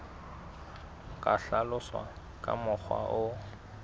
ka hlaloswa ka mokgwa o